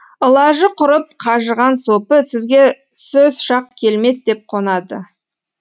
ылажы құрып қажыған сопы сізге сөз шақ келмес деп қонады